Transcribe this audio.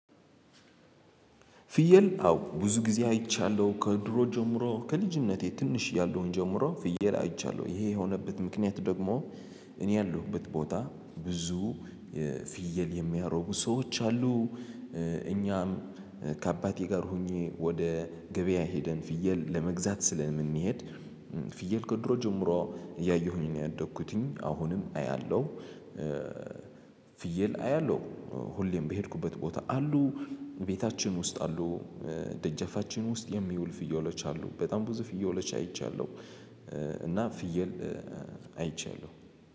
ፍየል አዎ ብዙ ጊዜ አይቻለሁ ከድሮ ጀምሮ ከልጅነቴ ትንሽ ያለውን ጀምሮ ፍየል አይቻለሁ ይሄ የሆነበት ምክንያት ደግሞ እኔ ያለሁበት ቦታ ብዙ ፍየል የሚያረቡ ሰዎች አሉ። እኛም ከአባቴ ጋር ሆኜ ወደ ገበያ ሄደን ፍየል ለመግዛት ስለምንሄድ ፍየል ከድሮ ጀምሮ እያየሁኝ ነው ያደግኩትኝ አሁንም አያለሁ። ፍየል አያለሁ ሁሌም በሄድኩበት ቦታ አሉ ቤታችን ውስጥ አሉ። ደጀፋችን ውስጥ የሚውል ፍየሎች አሉ በጣም ብዙ ፍየሎች አይቻለሁ። እና ፍየል አይቻለው